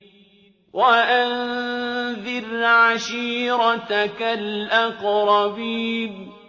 وَأَنذِرْ عَشِيرَتَكَ الْأَقْرَبِينَ